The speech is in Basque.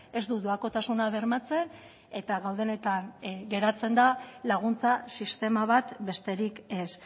ez du doakotasuna bermatzen eta gaudenetan geratzen da laguntza sistema bat besterik ez